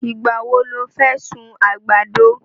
Ìgbà wo lo fẹ́ sun àgbàdo?